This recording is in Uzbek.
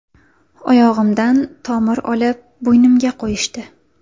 Oyog‘imdan tomir olib, bo‘ynimga qo‘yishdi.